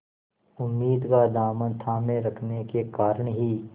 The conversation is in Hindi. उम्मीद का दामन थामे रखने के कारण ही